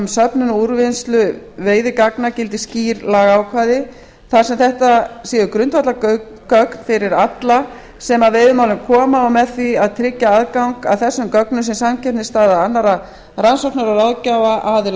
söfnun og úrvinnslu veiðigagna gildi skýr lagaákvæði þar sem þetta séu grundvallargögn fyrir alla sem að veiðimálum koma og með því að tryggja aðgang að þessum gögnum sé samkeppnisstaða annarra rannsóknar eða